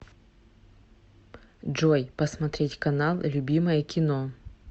джой посмотреть канал любимое кино